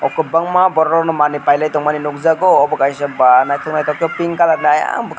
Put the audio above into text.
oh kwbangma borokno manui pailai tongmani nukjakgo obo kaisa naithok naithok khe pink colour ni oyang bwkhak.